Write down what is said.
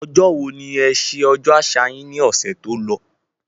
Ọjọ́ wo ni e sẹ ọjọ́ àṣà yín ní ọ̀sẹ̀ tó lọ